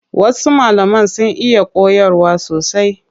Wasu malaman sun iya koyarwa sosai.